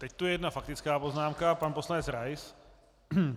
Teď tu je jedna faktická poznámka - pan poslanec Rais.